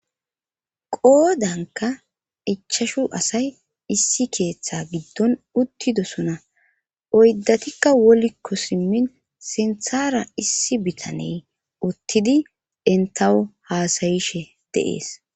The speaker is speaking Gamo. qoodanka ichashu asay issi keeththa giddon uttidosona oyddatikka wolikko simmin sinthara issi bitaney uttidi entawwu haasayishe de7es